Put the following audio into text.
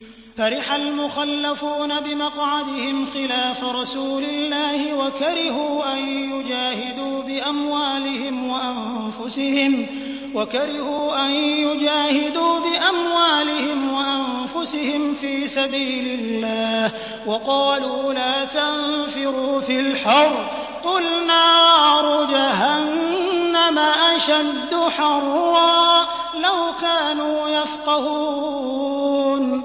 فَرِحَ الْمُخَلَّفُونَ بِمَقْعَدِهِمْ خِلَافَ رَسُولِ اللَّهِ وَكَرِهُوا أَن يُجَاهِدُوا بِأَمْوَالِهِمْ وَأَنفُسِهِمْ فِي سَبِيلِ اللَّهِ وَقَالُوا لَا تَنفِرُوا فِي الْحَرِّ ۗ قُلْ نَارُ جَهَنَّمَ أَشَدُّ حَرًّا ۚ لَّوْ كَانُوا يَفْقَهُونَ